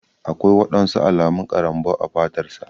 Aƙwai waɗansu alamun karambau a fatar sa.